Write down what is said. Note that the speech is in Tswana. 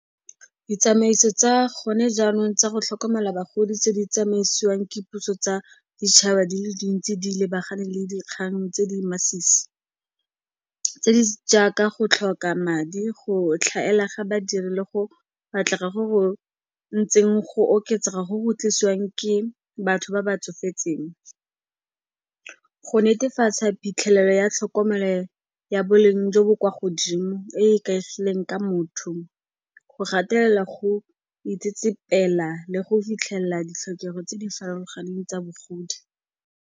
Ditsamaiso tsa gone jaanong tsa go tlhokomela bagodi tse di tsamaisiwang ke puso tsa ditšhaba di le dintsi di lebagane le dikgang tse di masisi, tse di jaaka go tlhoka madi, go tlhaela ga badiri le go batlega go go ntseng go oketsega go go tlisiwang ke batho ba ba tsofetseng. Go netefatsa phitlhelelo ya tlhokomelo ya boleng jo bo kwa godimo, e e ikaegileng ka motho, go gatelela go itsetsepela le go fitlhelela ditlhokego tse di farologaneng tsa bogodi.